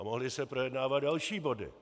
A mohly se projednávat další body.